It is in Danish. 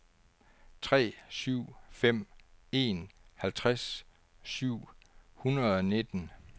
tre syv fem en halvtreds syv hundrede og nitten